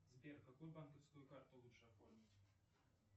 сбер какую банковскую карту лучше оформить